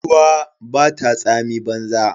Ruwa bata tsami banza.